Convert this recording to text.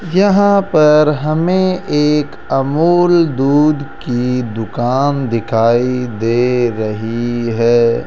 यहां पर हमें एक अमूल दूध की दुकान दिखाई दे रही है।